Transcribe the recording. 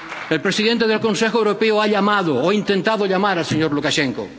El presidente del Consejo Europeo ha llamado o intentado llamar al señor Lukashenko.